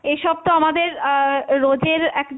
এইসব তো আমাদের আহ রোজের একটা,